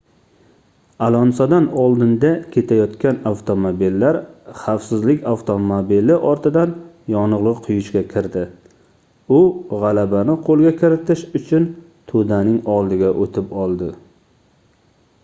alonsodan oldinda ketayotgan avtomobillar xavfsizlik avtomobili ortidan yonilgʻi quyishga kirdi u gʻalabani qoʻlga kiritish uchun toʻdaning oldiga oʻtib oldi